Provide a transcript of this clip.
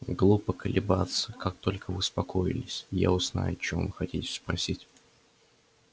глупо колебаться как только вы успокоились я узнаю о чём вы хотите спросить